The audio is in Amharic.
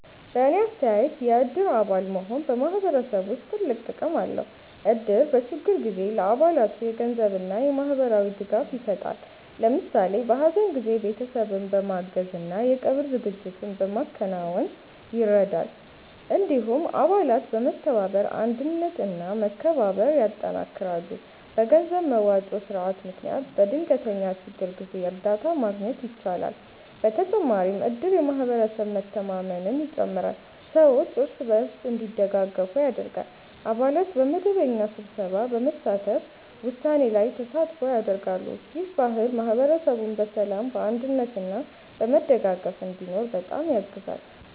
በእኔ አስተያየት የእድር አባል መሆን በማህበረሰብ ውስጥ ትልቅ ጥቅም አለው። እድር በችግር ጊዜ ለአባላቱ የገንዘብ እና የማህበራዊ ድጋፍ ይሰጣል። ለምሳሌ በሀዘን ጊዜ ቤተሰብን በማገዝ እና የቀብር ዝግጅት በማከናወን ይረዳል። እንዲሁም አባላት በመተባበር አንድነት እና መከባበር ያጠናክራሉ። በገንዘብ መዋጮ ስርዓት ምክንያት በድንገተኛ ችግር ጊዜ እርዳታ ማግኘት ይቻላል። በተጨማሪም እድር የማህበረሰብ መተማመንን ይጨምራል፣ ሰዎች እርስ በርስ እንዲደጋገፉ ያደርጋል። አባላት በመደበኛ ስብሰባ በመሳተፍ ውሳኔ ላይ ተሳትፎ ያደርጋሉ። ይህ ባህል ማህበረሰቡን በሰላም፣ በአንድነት እና በመደጋገፍ እንዲኖር በጣም ያግዛል።